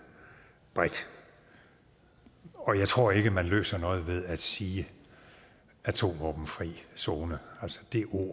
bredt og jeg tror ikke at man løser noget ved at sige atomvåbenfri zone altså